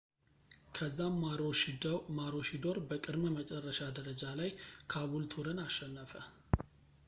ከዛም ማሮሺዶር በቅድመ-መጨረሻ ደረጃ ላይ ካቡልቱርን አሸነፈ